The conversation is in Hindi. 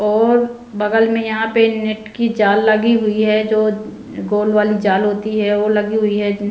और बगल में यहाँ पे नेट की जाल लगी हुई है जो गोल वाली जाल होती है वो लगी हुई है।